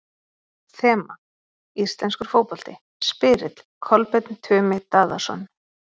Þema: Íslenskur fótbolti Spyrill: Kolbeinn Tumi Daðason